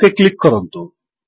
okay click କରନ୍ତୁ